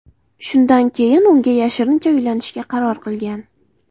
Shundan keyin unga yashirincha uylanishga qaror qilgan.